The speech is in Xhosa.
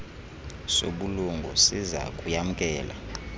sobulungu siza kuyamkela